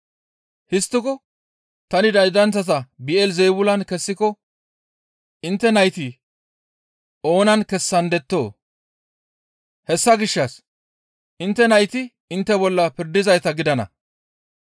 Histtiko tani daydanththata Bi7elizeebulan kessiko intte nayti oonan kessandettoo? Hessa gishshas intte nayti intte bolla pirdizayta gidana.